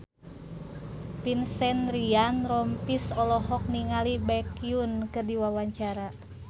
Vincent Ryan Rompies olohok ningali Baekhyun keur diwawancara